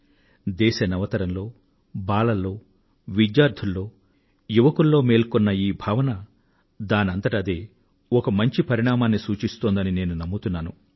దేశ నవతరంలో బాలల్లో విద్యార్థినీ విద్యార్థులలో యువతీయువకులలో మేల్కొన్న ఈ భావన దానంతట అదే ఒక మంచి పరిణామాన్నిసూచిస్తోందని నేను నమ్ముతున్నాను